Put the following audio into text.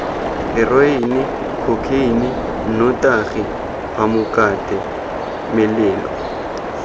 heroene khokheine nnotagi phamokate melelo